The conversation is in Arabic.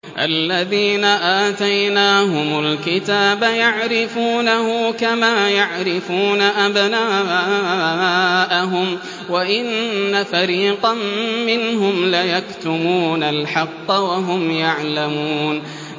الَّذِينَ آتَيْنَاهُمُ الْكِتَابَ يَعْرِفُونَهُ كَمَا يَعْرِفُونَ أَبْنَاءَهُمْ ۖ وَإِنَّ فَرِيقًا مِّنْهُمْ لَيَكْتُمُونَ الْحَقَّ وَهُمْ يَعْلَمُونَ